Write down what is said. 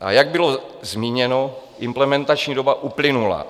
A jak bylo zmíněno, implementační doba uplynula.